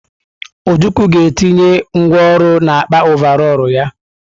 Ojukwu ga-etinye ngwa ọrụ n'akpa ọvarọọr ya.